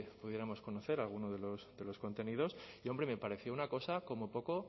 pudiéramos conocer alguno de los contenidos y hombre me pareció una cosa como poco